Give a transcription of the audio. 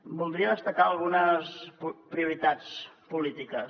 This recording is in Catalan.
voldria destacar algunes prioritats polítiques